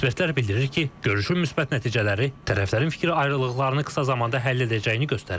Ekspertlər bildirir ki, görüşün müsbət nəticələri tərəflərin fikir ayrılıqlarını qısa zamanda həll edəcəyini göstərir.